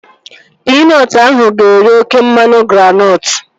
Pinọtụ ahụ ga-eri oké mmanụ granọtụ